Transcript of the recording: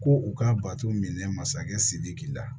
Ko u ka bato minɛ masakɛ sidiki la